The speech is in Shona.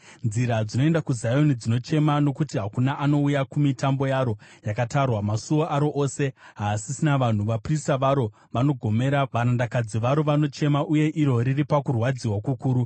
Nzira dzinoenda kuZioni dzinochema, nokuti hakuna anouya kumitambo yaro yakatarwa. Masuo aro ose haasisina vanhu, vaprista varo vanogomera, varandakadzi varo vanochema, uye iro riri pakurwadziwa kukuru.